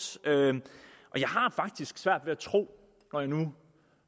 og jeg har faktisk svært ved at tro når jeg nu